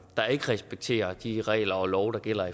der ikke respekterer de regler og love der gælder